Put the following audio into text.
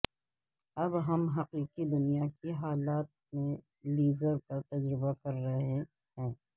اب ہم حقیقی دنیا کے حالات میں لیزر کا تجربہ کر رہے ہیں